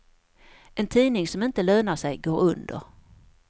En tidning som inte lönar sig går under.